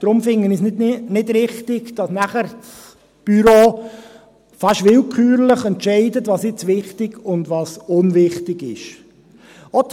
Deshalb finde ich es nicht richtig, dass das Büro dann beinahe entscheidet, was wichtig und was unwichtig ist.